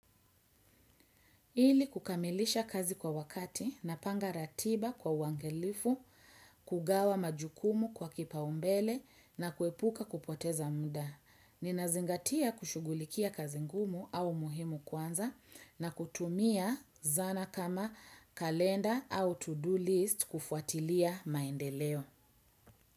Ili kukamilisha kazi kwa wakati napanga ratiba kwa uangalifu, kugawa majukumu kwa kipaumbele na kuepuka kupoteza muda. Ninazingatia kushughulikia kazi ngumu au muhimu kwanza na kutumia zana kama kalenda au to-do list kufuatilia maendeleo.